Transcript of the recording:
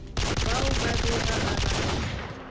bao ba bego ba ba